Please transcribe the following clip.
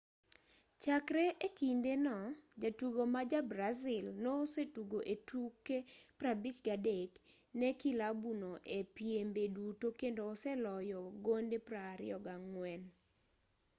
chakre e kinde no jatugo ma ja-brazil no osetugo e tuke 53 ne kilabu no e piembe duto kendo oseloyo gonde 24